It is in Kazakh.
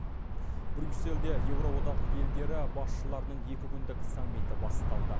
брюссельде еуроодақ елдері басшыларының екі күндік саммиті басталды